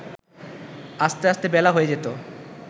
আসতে আসতে বেলা হয়ে যেত